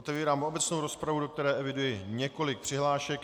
Otevírám obecnou rozpravu, do které eviduji několik přihlášek.